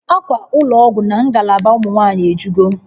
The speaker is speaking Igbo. Akwa ụlọ ọgwụ na ngalaba ụmụ nwanyị ejugo